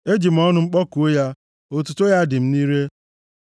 Eji m ọnụ m kpọkuo ya; otuto ya dị m nʼire.